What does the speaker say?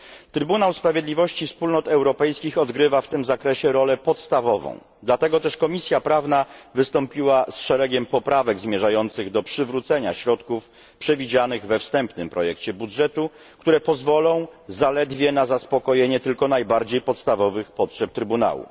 Trybunał Sprawiedliwości Wspólnot Europejskich odgrywa w tym zakresie podstawową rolę, dlatego też Komisja Prawna wystąpiła z szeregiem poprawek zmierzających do przywrócenia środków przewidzianych we wstępnym projekcie budżetu, które pozwolą zaledwie na zaspokojenie tylko najbardziej podstawowych potrzeb Trybunału.